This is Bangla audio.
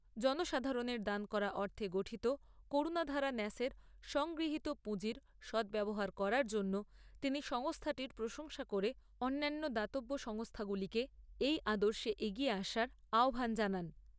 জনসাধারণের দান করা অর্থে গঠিত করুণাধারা ন্যাসের সংগৃহীত পুঁজির সদ্ব্যবহার করার জন্য তিনি সংস্থাটির প্রশংসা করে অন্যান্য দাতব্য সংস্থাগুলোকে এই আদর্শে এগিয়ে আসার আহ্বান জানান।